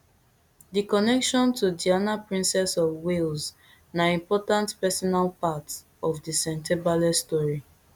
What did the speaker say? di connection to diana princess of wales na important personal part of di sentebale story